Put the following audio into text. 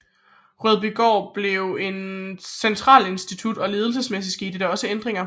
Rødbygård blev til en centralinstitution og ledelsesmæssigt skete der også ændringer